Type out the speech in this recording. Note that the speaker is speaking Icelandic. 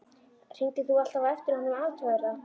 Hringdir þú alltaf á eftir honum og athugaðir það?